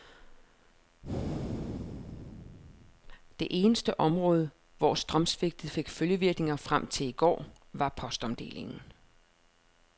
Det eneste område, hvor strømsvigtet fik følgevirkninger frem til i går, var postomdelingen.